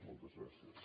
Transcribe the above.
moltes gràcies